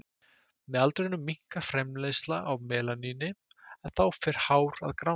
Með aldrinum minnkar framleiðsla á melaníni en þá fer hár að grána.